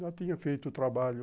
Já tinha feito o trabalho.